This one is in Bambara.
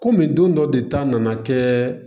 Kɔmi don dɔ de ta nana kɛ